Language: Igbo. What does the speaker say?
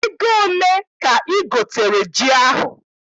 Ego ole ka I gotere ji ahụ?